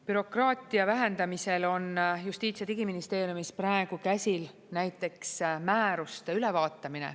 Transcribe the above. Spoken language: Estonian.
Bürokraatia vähendamisel on Justiits- ja Digiministeeriumis praegu käsil näiteks määruste ülevaatamine.